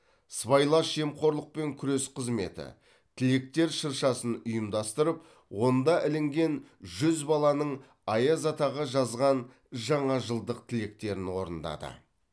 сыбайлас жемқорлыпен күрес қызметі тілектер шыршасын ұйымдастырып онда ілінген жүз баланың аяз атаға жазған жаңа жылдық тілектерін орындады